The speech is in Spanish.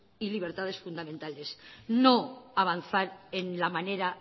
y libertades fundamentales no avanzar en la manera